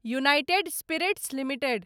United spirits limited